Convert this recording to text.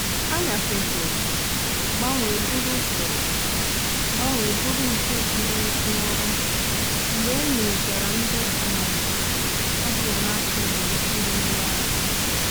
Anyasị jụụ gbanwee bụrụ jụụ gbanwee bụrụ nke juru n’ụra mgbe enyi wetara ndị um ọbịa na-atụghị anya iri nri abalị.